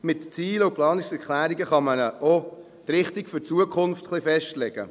Mit Ziel- und Planungserklärungen kann man auch die Richtung für die Zukunft ein wenig festlegen.